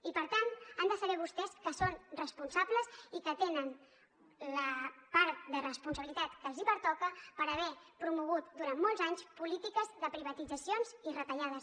i per tant han de saber vostès que són responsables i que tenen la part de responsabilitat que els pertoca per haver promogut durant molts anys polítiques de privatitzacions i retallades